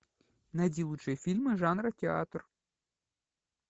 найди лучшие фильмы жанра театр